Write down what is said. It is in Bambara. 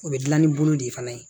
O bɛ dilan ni bolo de fana ye